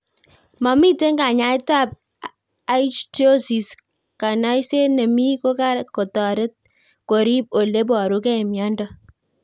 Mamito kanyaet ab Ichthyosis ,kanayiset ne mii ko kotaret korip ole parukei miondo